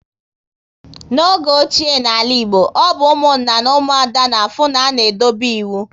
Na oge ochie na ala Igbo, ọ bụ Ụmụnna na Umuada na afụ na-a na edobe ịwụ